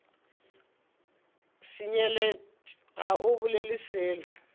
senyelet ga o bolele selo